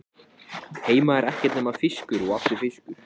Heima er ekkert nema fiskur og aftur fiskur.